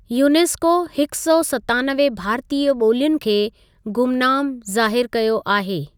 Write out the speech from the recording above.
UNESCO हिकु सौ सतानवे भारतीय ॿोलियुनि खे 'गुमनाम' जा़ाहिरु कयो आहे।